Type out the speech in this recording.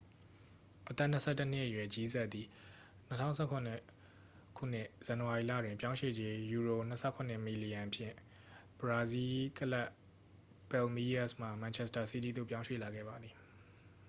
အသက်-၂၁-နှစ်အရွယ် ဂျီးဆပ်သည် ၂၀၁၇ ခုနှစ် ဇန်နဝါရီလတွင် ပြောင်းရွေ့ကြေး £၂၇ မီလီယံဖြင့် ဘရာဇီးကလပ် ပယ်လ်မီးရပ်စ်မှ မန်ချက်စတာစီးတီးသို့ ပြောင်းရွှေ့လာခဲ့ပါသည်။